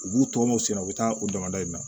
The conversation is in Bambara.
U b'u tɔmɔ sen na u bɛ taa u damada in na